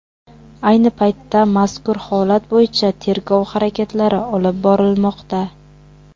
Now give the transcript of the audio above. Ayni paytda mazkur holat bo‘yicha tergov harakatlari olib borilmoqda.